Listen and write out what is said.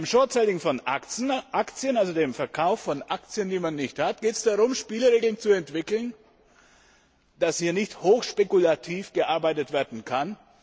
Beim short selling von Aktien, also dem Verkauf von Aktien, die man nicht hat, geht es darum, Spielregeln zu entwickeln, damit hier nicht hochspekulativ gearbeitet werden kann.